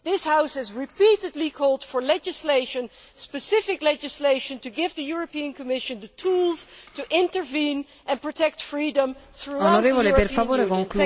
This House has repeatedly called for legislation specific legislation to give the European Commission the tools to intervene and protect freedom throughout the European Union.